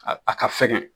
A a ka fɛgɛn